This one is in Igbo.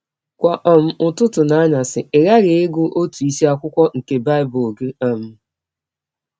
Kwa um ụtụtụ na anyasị ị ghaghị ịgụ ọtụ isiakwụkwọ nke Bible gị um. ”